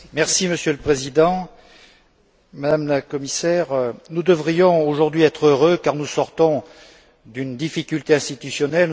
Monsieur le Président, Madame la Commissaire, nous devrions aujourd'hui être heureux, car nous sortons d'une difficulté institutionnelle.